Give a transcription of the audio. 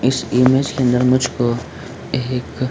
इस इमेज के अंदर मुझको एक --